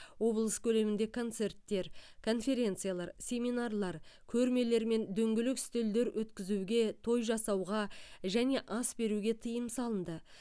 облыс көлемінде концерттер конференциялар семинарлар көрмелер мен дөңгелек үстелдер өткізуге той жасауға және ас беруге тыйым салынды